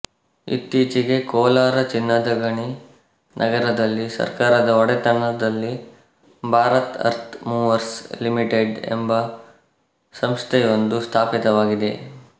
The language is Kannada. ಇತ್ತೀಚೆಗೆ ಕೋಲಾರ ಚಿನ್ನದ ಗಣಿ ನಗರದಲ್ಲಿ ಸರ್ಕಾರದ ಒಡೆತನದಲ್ಲಿ ಭಾರತ್ ಅರ್ತ್ ಮೂವರ್ಸ್ ಲಿಮಿಟೆಡ್ ಎಂಬ ಸಂಸ್ಥೆಯೊಂದು ಸ್ಥಾಪಿತವಾಗಿದೆ